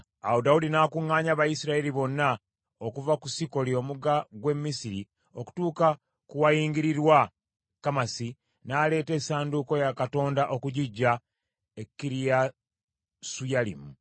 Awo Dawudi n’akuŋŋaanya Abayisirayiri bonna okuva ku Sikoli omugga gw’e Misiri okutuuka ku wayingirirwa e Kamasi, n’aleeta essanduuko ya Katonda okugiggya e Kiriyasuyalimu.